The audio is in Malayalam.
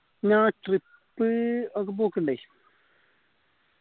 ഞാൻ trip ഒക്കെ പോക്കിണ്ടേ